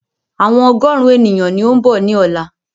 Àwọn ọgọ́rùn ènìyàn ni ó ń bọ̀ ni ọ̀la